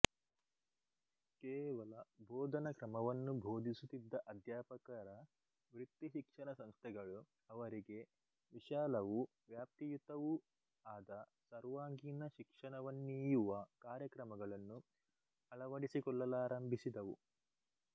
ಕೇವಲ ಬೋಧನ ಕ್ರಮವನ್ನು ಬೋಧಿಸುತ್ತಿದ್ದ ಅಧ್ಯಾಪಕರ ವೃತ್ತಿಶಿಕ್ಷಣ ಸಂಸ್ಥೆಗಳು ಅವರಿಗೆ ವಿಶಾಲವೂ ವ್ಯಾಪ್ತಿಯುತವೂ ಆದ ಸರ್ವಾಂಗೀಣ ಶಿಕ್ಷಣವನ್ನೀಯುವ ಕಾರ್ಯಕ್ರಮಗಳನ್ನು ಅಳವಡಿಸಿಕೊಳ್ಳಲಾರಂಭಿಸಿದವು